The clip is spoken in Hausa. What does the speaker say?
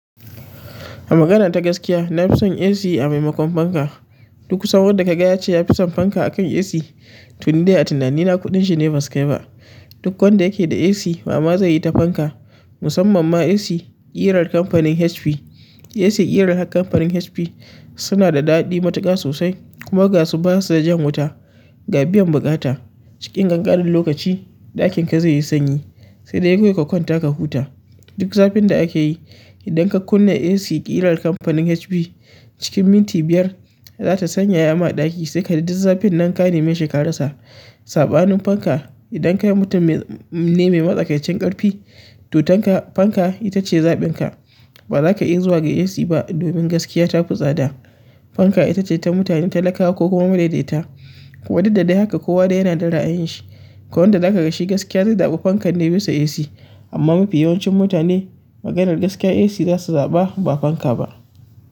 A magana ta gaskiya, na fi son AC a maimakon fanka. Duk kusan wanda kaga yace yafi son fanka akan Ac, to ni dai a tunani na gaskiya kuɗin shi ne ba su kai ba, duk wanda yake da Ac wa ma zaiyi ta fanka? Musamman ma AC irar kamfanin HP. Ac ƙirar company HP, suna da daɗi matuƙa sosai, kuma gashi basa jan wuta. Ga biyan buƙata, cikin ƙinƙanin lokaci ɗakin ka zai yi sanyi sai dai kawai ka kwanta ka huta. Duk zafin da ake yi, idan ka kunna AC irar kamfanin HP, cikin minti biyar za ta sanya yama a ɗaki sai ka ji duk zafin nan ka nemi shekara sa. Saɓanin fanka, idan ka yi mutum ne mai matsakaicin ƙarfi, to--tan ka fanka ita ce zaɓin ka. Ba za ka yi zuwa ga AC ba domin gaskiya ta fi tsada. Fanka ita ce ta mutane talakawa ko kuma madaidaita. Kuwa duk da-dai haka kowa dai yana da ra'ayin shi. Akwai wanda za ka ga shi gaskiya zai zaɓi fankan ne bisa AC, amma mafi yawancin mutane maganar gaskiya AC za su zaɓa ba fanka ba.